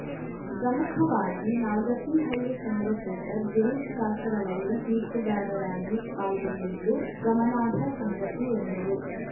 ಪ್ರಮುಖವಾಗಿ ನಾಗತಿಹಳ್ಳಿ ಚಂದ್ರಶೇಖರ್‌ ಗಿರೀಶ್‌ ಕಾಸರವಳ್ಳಿ ತೀರ್ಪುಗಾರರಾಗಿ ಪಾಲ್ಗೊಂಡಿದ್ದು ಗಮನಾರ್ಹ ಸಂಗತಿ ಎಂದರು